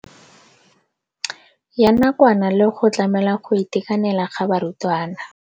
Ya nakwana le go tlamela go itekanela ga barutwana.